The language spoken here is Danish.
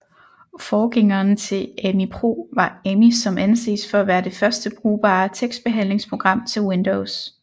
Forgængeren til Ami Pro var Amí som anses for at være det første brugbare tekstbehandlingsprogram til Windows